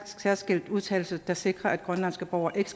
særskilt undtagelse der sikrer at grønlandske borgere ikke